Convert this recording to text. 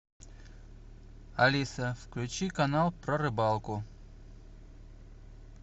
алиса включи канал про рыбалку